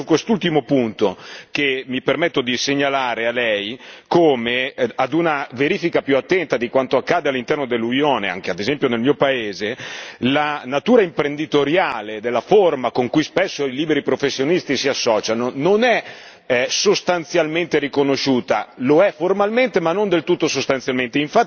È proprio su quest'ultimo punto che mi permetto di segnalare a lei come, a una verifica più attenta di quanto accade all'interno dell'Unione anche ad esempio nel mio paese la natura imprenditoriale della forma con cui spesso i liberi professionisti si associano, non è sostanzialmente riconosciuta, lo è formalmente, ma non del tutto sostanzialmente.